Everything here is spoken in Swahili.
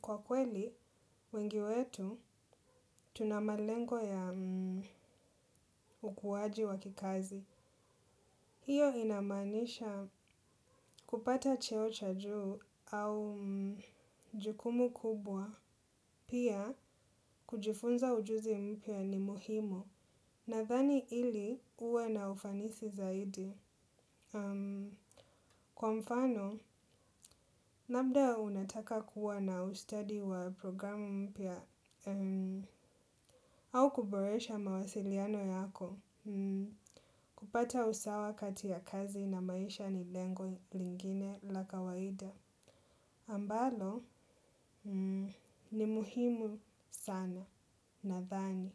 Kwa kweli, wengi wetu, tuna malengo ya ukuwaji wa kikazi. Hiyo inamaanisha kupata cheo cha juu au jukumu kubwa. Pia, kujifunza ujuzi mpya ni muhimu. Nadhani ili uwe na ufanisi zaidi. Kwa mfano, labda unataka kuwa na ustadi wa programu mpya au kuboresha mawasiliano yako. Kupata usawa kati ya kazi na maisha ni lengo lingine la kawaida ambalo, ni muhimu sana, nadhani.